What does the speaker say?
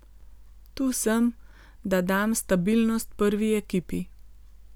Tu sem, da dam stabilnost prvi ekipi.